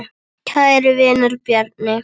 Kæri vinur, Bjarni.